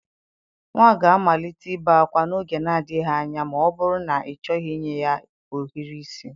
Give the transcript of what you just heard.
Nwa ga-amalite ibe ákwá n'oge na-adịghị anya ma ọ bụrụ na ịchọghị inye ya ohiri isi.